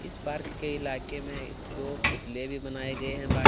इस बार के इलाके में दो पुतले भी बनाए गए है।